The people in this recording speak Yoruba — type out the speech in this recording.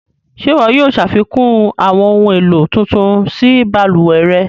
Ṣẹ iwọ yóò ṣafikun awọn ohun elo tuntun sí baluwẹ̀ rẹ̀?